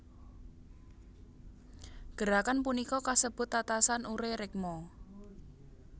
Gerakan punika kasebut tatasan ure rekmo